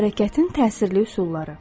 Hərəkətin təsirli üsulları.